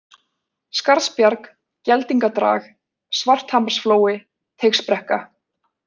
Skarðsbjarg, Geldingadrag, Svarthamarsflói, Teigsbrekka